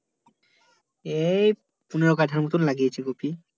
এই পনোরো কাঠার মতো লাগিয়েছি কপি